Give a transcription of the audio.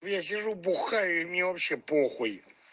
я сижу бухаю и мне вообще похуй